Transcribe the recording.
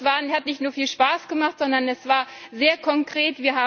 Es hat nicht nur viel Spaß gemacht, sondern es war sehr konkret.